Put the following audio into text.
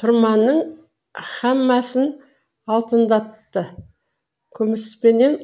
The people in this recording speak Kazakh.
тұрманының һәммасын алтындатты күміспенен